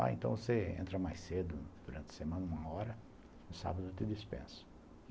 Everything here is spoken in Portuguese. Ah, então você entra mais cedo durante a semana, uma hora, no sábado eu te dispenso.